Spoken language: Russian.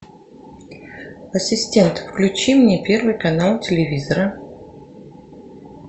ассистент включи мне первый канал телевизора